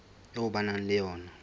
eo ba nang le yona